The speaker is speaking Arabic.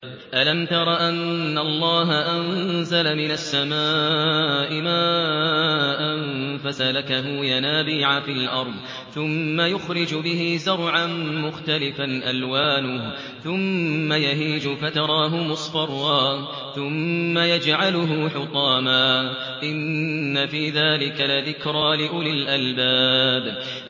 أَلَمْ تَرَ أَنَّ اللَّهَ أَنزَلَ مِنَ السَّمَاءِ مَاءً فَسَلَكَهُ يَنَابِيعَ فِي الْأَرْضِ ثُمَّ يُخْرِجُ بِهِ زَرْعًا مُّخْتَلِفًا أَلْوَانُهُ ثُمَّ يَهِيجُ فَتَرَاهُ مُصْفَرًّا ثُمَّ يَجْعَلُهُ حُطَامًا ۚ إِنَّ فِي ذَٰلِكَ لَذِكْرَىٰ لِأُولِي الْأَلْبَابِ